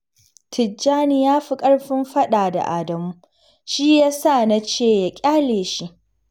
Tijjani ya fi ƙarfin faɗa da Adamu, shi ya sa na ce ya ƙyale shi